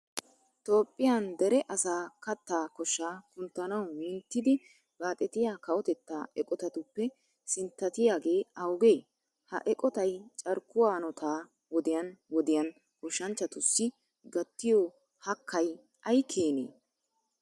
Toophphiyan dere asaa kattaa koshshaa kunttanawu minttidi baaxetiya kawotettaa eqotatuppe sinttatiyagee awugee? Ha eqotay carkkuwa hanotaa wodiyan wodiyan goshshanchchatussi gattiyo hakkay ay keenee?